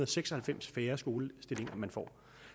seks og halvfems færre skolestillinger man får